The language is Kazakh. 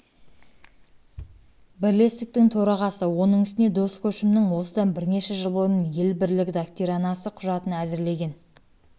бірлестіктің төрағасы оның үстіне дос көшімнің осыдан бірнеше жыл бұрын ел бірлігі доктринасы құжатын әзірлеген